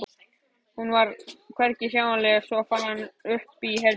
Hún var hvergi sjáanleg svo hann fór upp í herbergi.